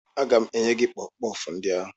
Aga m enye gị kpọfụ kpọfụ ndị ahụ